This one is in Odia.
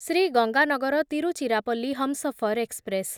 ଶ୍ରୀ ଗଙ୍ଗାନଗର ତିରୁଚିରାପଲ୍ଲୀ ହମସଫର ଏକ୍ସପ୍ରେସ୍